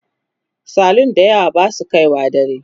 salun da yawa Basu kaiwa dare